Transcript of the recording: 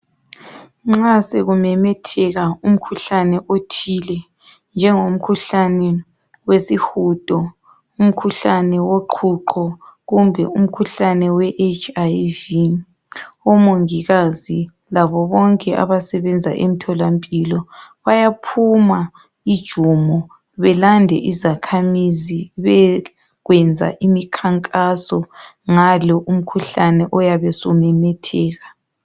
Nxa sokumemetheka umkhuhlane othile njengomkhuhlane wesihudo umkhuhlane woqhuqho kumbe umkhuhlane weHIV omongikazi labo bonke abasebenza emtholampilo bayaphuma injumo belande izakhamizi beyekwenza imikhankaso ngalo umkhuhlane oyabe usumemetheka .